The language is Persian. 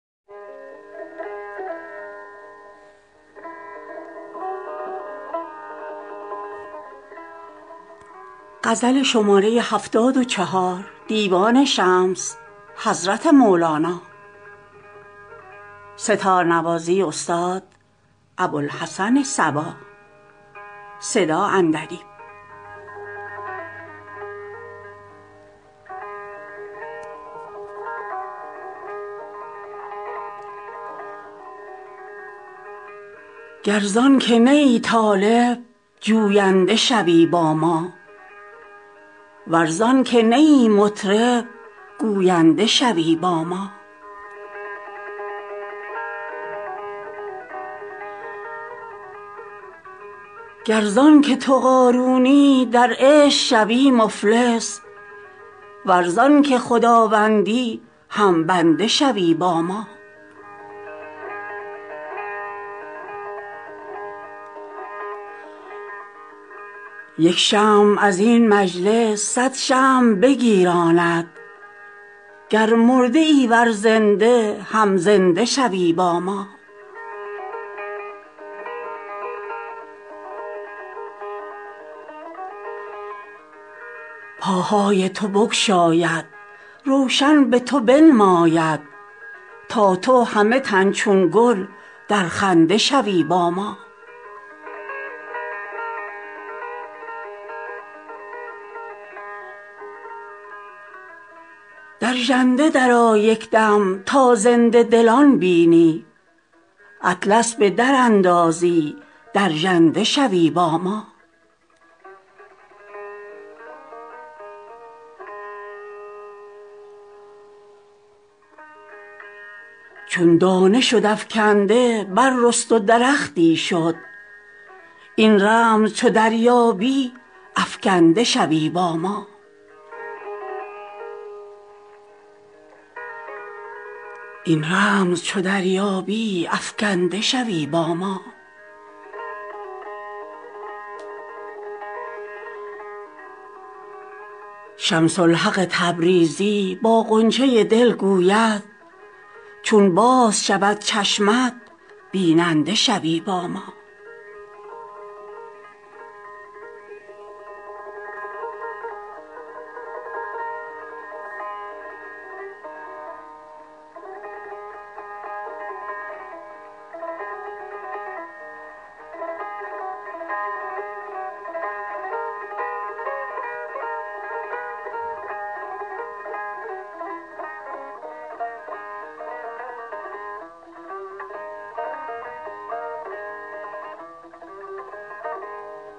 گر زان که نه ای طالب جوینده شوی با ما ور زان که نه ای مطرب گوینده شوی با ما گر زان که تو قارونی در عشق شوی مفلس ور زان که خداوندی هم بنده شوی با ما یک شمع از این مجلس صد شمع بگیراند گر مرده ای ور زنده هم زنده شوی با ما پاهای تو بگشاید روشن به تو بنماید تا تو همه تن چون گل در خنده شوی با ما در ژنده درآ یک دم تا زنده دلان بینی اطلس به دراندازی در ژنده شوی با ما چون دانه شد افکنده بررست و درختی شد این رمز چو دریابی افکنده شوی با ما شمس الحق تبریزی با غنچه دل گوید چون باز شود چشمت بیننده شوی با ما